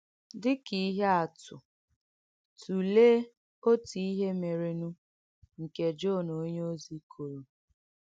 Dị̀ kà ìhé àtụ̀, tùlèè òtú ìhé mèrènù nkè Jọ́n onyèózì kòrò.